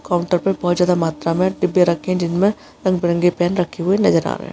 Counter पर बहुत ज्यादा मात्रा में डिब्बे रखें है जिसमें रंग-बिरंगे पेन रखे हुए नजर आ रहे हैं।